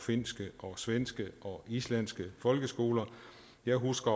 finske svenske og islandske folkeskoler jeg husker